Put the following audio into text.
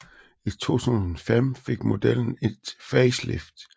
I 2005 fik modellen et facelift